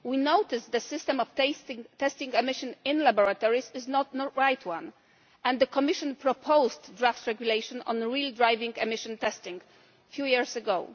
We noticed that the system of testing emissions in laboratories is not the right one, and the Commission proposed draft regulations on real driving emission testing a few years ago.